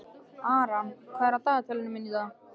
Aran, hvað er á dagatalinu mínu í dag?